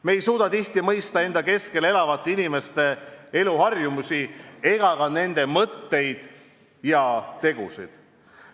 Me ei suuda tihti mõista enda keskel elavate inimeste eluharjumusi ega ka nende mõtteid ja tegusid.